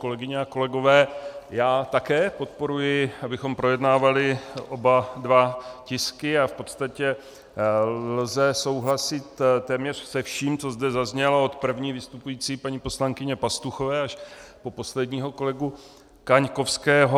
Kolegyně a kolegové, já také podporuji, abychom projednávali oba dva tisky, a v podstatě lze souhlasit téměř se vším, co zde zaznělo, od první vystupující paní poslankyně Pastuchové až po posledního kolegu Kaňkovského.